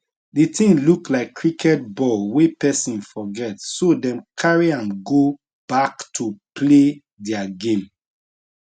di tin look like cricket ball wey person forget so dem carry am go back to play dia game